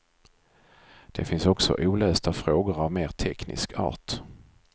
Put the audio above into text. Det finns också olösta frågor av mer teknisk art.